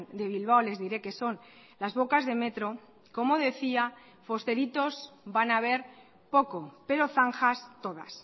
de bilbao les diré que son las bocas de metro como decía fosteritos van a ver poco pero zanjas todas